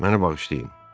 Məni bağışlayın.